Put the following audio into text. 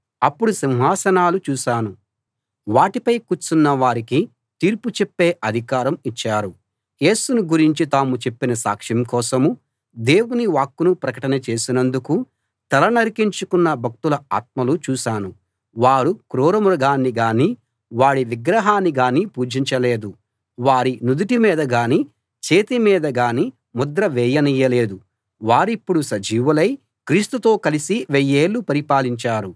అప్పుడు సింహాసనాలు చూశాను వాటిపై కూర్చున్న వారికి తీర్పు చెప్పే అధికారం ఇచ్చారు యేసును గురించి తాము చెప్పిన సాక్ష్యం కోసమూ దేవుని వాక్కును ప్రకటన చేసినందుకూ తల నరికించుకున్న భక్తుల ఆత్మలు చూశాను వారు క్రూర మృగాన్ని గానీ వాడి విగ్రహాన్ని గానీ పూజించలేదు వారి నుదుటి మీద గానీ చేతి మీద గానీ ముద్ర వేయనీయలేదు వారిప్పుడు సజీవులై క్రీస్తుతో కలిసి వెయ్యేళ్ళు పరిపాలించారు